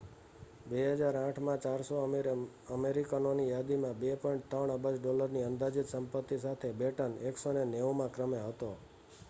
2008 માં 400 અમીર અમેરિકનોની યાદીમાં 2.3 અબજ ડોલરની અંદાજીત સંપત્તિ સાથે બેટન 190 માં ક્રમે હતો